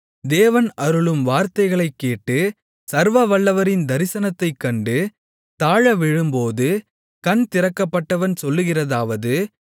தேவன் அருளும் வார்த்தைகளைக் கேட்டு சர்வவல்லவரின் தரிசனத்தைக் கண்டு தாழவிழும்போது கண் திறக்கப்பட்டவன் சொல்லுகிறதாவது